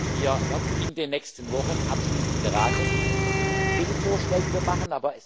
Wir werden in den nächsten Wochen abschließend beraten, welche Vorschläge wir machen.